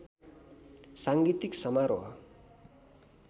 साङ्गीतिक समारोह